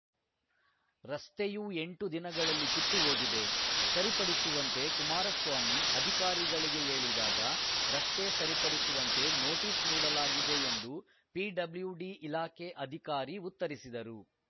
ರಸ್ತೆಯೂ ಎಂಟು ದಿನಗಳಲ್ಲಿ ಕಿತ್ತುಹೋಗಿದೆ ಸರಿಪಡಿಸುವಂತೆ ಕುಮಾರಸ್ವಾಮಿ ಅಧಿಕಾರಿಗಳಿಗೆ ಹೇಳಿದಾಗ ರಸ್ತೆ ಸರಿಪಡಿಸುವಂತೆ ನೋಟಿಸ್‌ ನೀಡಲಾಗಿದೆ ಎಂದು ಪಿಬ್ಲ್ಯೂಡಿ ಇಲಾಖೆ ಅಧಿಕಾರಿ ಉತ್ತರಿಸಿದರು